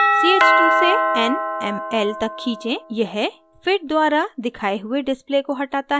ch2 से nml तक खींचें यह fit द्वारा दिखाए हुए display को हटाता है